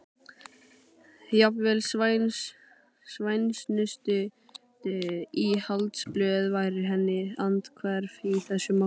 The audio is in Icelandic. Jafnvel svæsnustu íhaldsblöð væru henni andhverf í þessu máli.